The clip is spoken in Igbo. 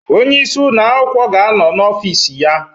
Onye isi ụlọ akwụkwọ ga-anọ n'ọfis ya